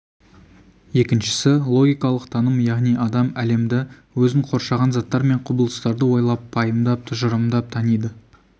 екіншісі логикалық таным яғни адам әлемді өзін қоршаған заттар мен құбылыстарды ойлап пайымдап тұжырымдап таниды